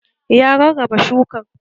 Ya rarraba shukan